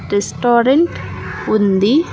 Restaurant ఉంది.